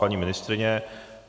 Paní ministryně?